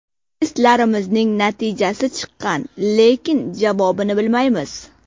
Testlarimizning natijasi chiqqan, lekin javobini bilmaymiz.